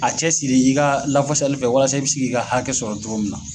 A cɛ siri i ka lafasali fɛ walasa i bi si k'i ka hakɛ sɔrɔ cogo min na.